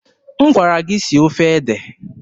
M gwara gị sie ofe ede!